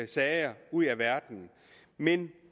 sager ud af verden men